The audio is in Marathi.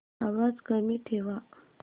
आवाज कमी ठेवा